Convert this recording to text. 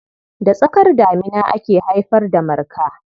Da tsakar damina ake haifar Marka.